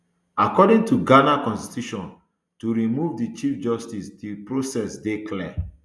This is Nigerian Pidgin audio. according to ghana constitution to remove di chief justice di process dey clear